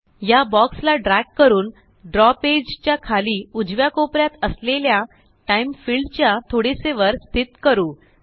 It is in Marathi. या बॉक्स ला ड्रॅग करून द्रव पेज च्या खाली उजव्या कोपऱ्यात असलेल्या टाइम फिल्ड च्या थोडेसे वर स्थित करू